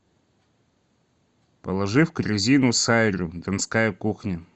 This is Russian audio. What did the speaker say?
положи в корзину сайру донская кухня